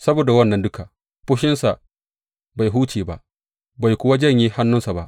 Saboda wannan duka, fushinsa bai huce ba, bai kuwa janye hannunsa ba.